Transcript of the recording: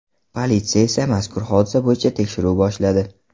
Politsiya esa mazkur hodisa bo‘yicha tekshiruv boshladi.